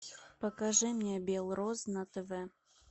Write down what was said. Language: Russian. покажи мне бел роз на тв